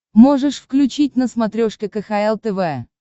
можешь включить на смотрешке кхл тв